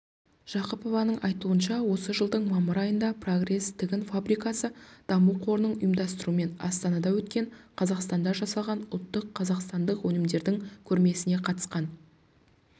жақыпованың айтуынша осы жылдың мамыр айында прогресс тігін фабрикасы даму қорының ұйымдастыруымен астанада өткен қазақстанда жасалған ұлттық қазақстандық өнімдердің көрмесіне қатысқан